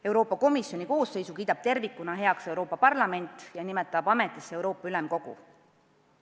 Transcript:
Euroopa Komisjoni koosseisu kiidab tervikuna heaks Euroopa Parlament ja nimetab ametisse Euroopa Ülemkogu.